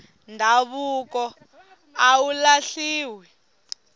ndhavuko a wu lahliwi